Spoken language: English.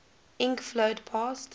ink flowed past